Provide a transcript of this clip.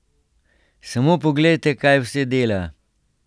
Samo poglejte, kaj vse dela.